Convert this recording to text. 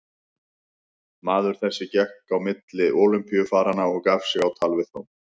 Maður þessi gekk á milli Ólympíufaranna og gaf sig á tal við þá.